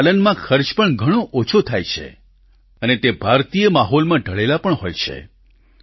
તેમના પાલનમાં ખર્ચ પણ ઘણો ઓછો થાય છે અને તે ભારતીય માહોલમાં ઢળેલા પણ હોય છે